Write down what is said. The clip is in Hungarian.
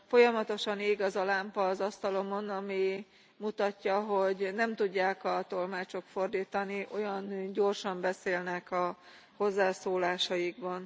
Folyamatosan ég az a lámpa az asztalomon, ami mutatja, hogy nem tudják a tolmácsok fordítani, olyan gyorsan beszélnek a hozzászólásaikban.